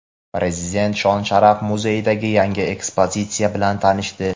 Prezident Shon-sharaf muzeyidagi yangi ekspozitsiya bilan tanishdi.